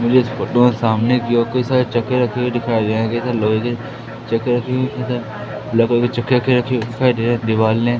मुझे इस फोटो में सामने की ओर कई सारे चॉकलेट रखे हुए दिखाई दे रहे दीवाल ने--